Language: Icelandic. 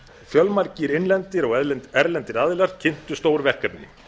fjölmargir innlendir og erlendir aðilar kynntu stór verkefni